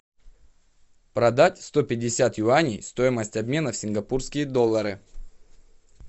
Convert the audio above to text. продать сто пятьдесят юаней стоимость обмена сингапурские доллары